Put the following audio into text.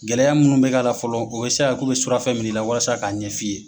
Gɛlɛya munu bɛ k'a la fɔlɔ o ye sisan ko bɛ surafɛ minɛ la walasa k'a ɲɛ f'i ye.